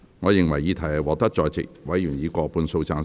我認為議題獲得在席委員以過半數贊成。